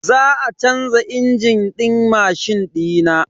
Za a canza injin din mashin dina.